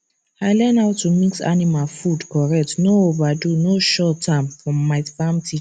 i learn how to mix animal food correct no overdo no short am from my farm teacher